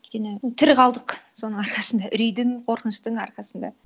өйткені тірі қалдық соның арқасында үрейдің қорқыныштың арқасында